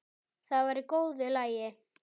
Það var í góðu lagi.